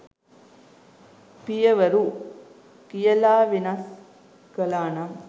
“පිය වරු” කියලා වෙනස් කලානම්